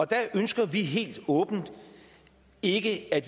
der ønsker vi helt åbent ikke at